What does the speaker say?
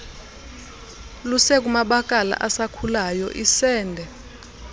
lusekumabakala asakhulayo isende